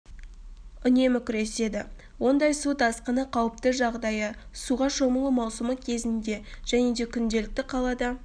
үнемі күреседі ондай су тасқыны қауіпті жағдайы суға шомылу маусымы кезінде және де күнделікті қалада